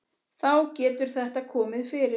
Þá getur þetta komið fyrir.